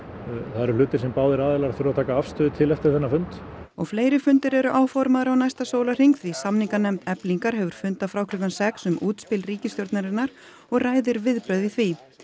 það eru hlutir sem báðir aðilar þurfa að taka afstöðu til eftir þennan fund og fleiri fundir eru áformaðir á næsta sólarhring því samninganefnd Eflingar hefur fundað frá klukkan sex um útspil ríkisstjórnarinnar og ræðir viðbrögð við því